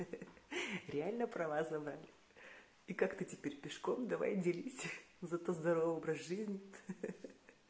ха-ха реально права забрали и как ты теперь пешком давай делись зато здоровый образ жизни